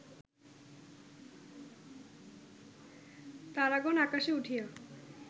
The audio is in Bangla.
তারাগণ আকাশে উঠিয়া